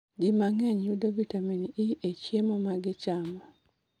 Ji mang'eny yudo vitamin E e chiemo ma gichamo